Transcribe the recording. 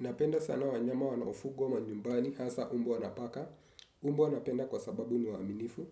Napenda sana wanyama wanaofugwa manyumbani hasa mbwa na paka, mbwa napenda kwa sababu niwaaminifu,